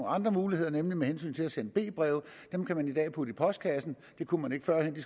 andre muligheder nemlig b breve dem kan man i dag putte i postkassen det kunne man ikke førhen